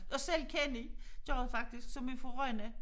Og selv Kenny gjorde det faktisk som er fra Rønne